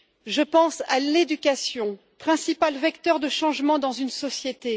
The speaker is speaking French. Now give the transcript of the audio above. Je pense à l'éducation, principal vecteur de changement dans une société.